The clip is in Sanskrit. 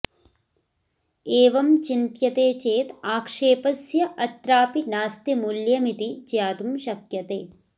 एवं चिन्त्यते चेत् आक्षेपस्य अत्रापि नास्ति मूल्यमिति ज्ञातुं शक्यते